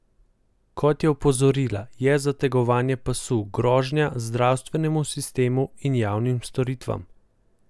Kot je opozorila, je zategovanje pasu grožnja zdravstvenemu sistemu in javnim storitvam.